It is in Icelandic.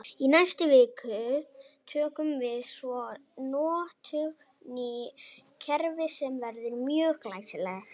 Í næstu viku tökum við svo í notkun nýtt kerfi sem verður mjög glæsilegt!